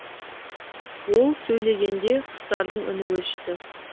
ол сөйлегенде құстардың үні өшті